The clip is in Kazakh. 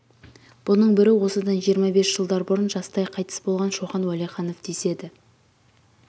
бұның бірі осыдан жиырма бес жылдар бұрын жастай қайтыс болған шоқан уәлиханов деседі